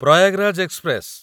Prayagraj express